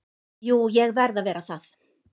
Jú ég verð að vera það.